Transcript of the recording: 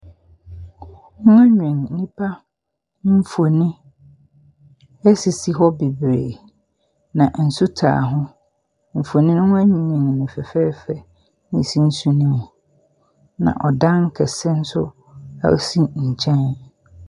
Waanwen nnipa mfoni asisi hɔ bebree. Na nsu taa ho. Mfonin no waanwen no fɛfɛɛfɛ na si nsu ne mu. Na ɔdan kɛse nso ɛsi nkyɛn.